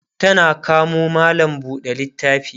tana kamo mallam buɗe littafi